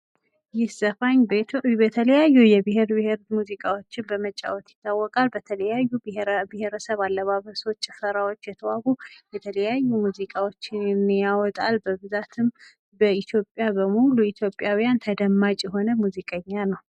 ይህ ዘፋኝ የተለያዩ የብሔር ብሔሮቹ ሙዚቃዎቹ በመጫወት ይታወቃል። በተለያዩ ብሔር ብሔረሰብ አለባበስ ጭፈራዎች የተዋቡ የተለያዩ ሙዚቃዎችን የሚያወጣ በብዛት በኢትዮጵያ በሙሉ ኢትዮጵያውያን ተደማጭ የሆነ ሙዚቀኛ ነው።